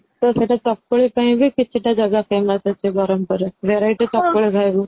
ତ ସେଇଟା ଚକୁଳି ପାଇଁ ବି କିଛି ତା ଜାଗା famous ଅଛି ବ୍ରହ୍ମପୁର ରେ variety ଚକୁଳି ଖାଇବୁ